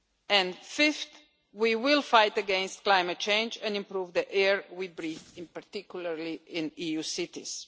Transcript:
And fifth, we will fight against climate change and improve the air we breathe, in particular in EU cities.